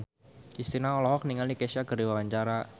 Kristina olohok ningali Kesha keur diwawancara